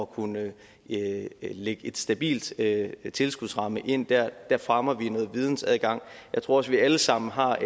kunne lægge en stabil stabil tilskudsramme ind der fremmer vi noget vidensadgang jeg tror også vi alle sammen har